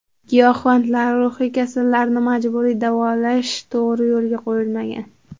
Giyohvandlar, ruhiy kasallarni majburiy davolash to‘g‘ri yo‘lga qo‘yilmagan.